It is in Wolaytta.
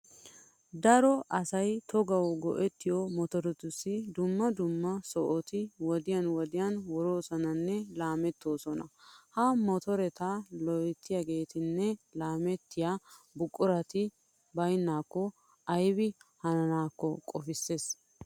Daro asay togawu go"ettiyo motoretussi dumma dumma sohoti wodiyan wodiyan wuroosonanne laamettoosona. Ha motoreta loyttiyageetinne laamettiya buqurati baynnaakko aybi hananaakko qofissees.